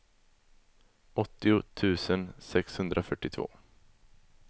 åttio tusen sexhundrafyrtiotvå